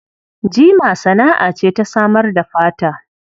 Jima sana'a ce ta samar da fata.